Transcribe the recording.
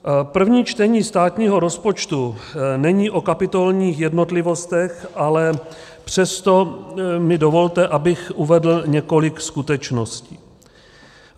První čtení státního rozpočtu není o kapitolních jednotlivostech, ale přesto mi dovolte, abych uvedl několik skutečností.